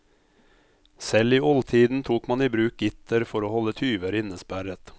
Selv i oldtiden tok man i bruk gitter for å holde tyver innesperret.